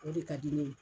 O de ka di ne ye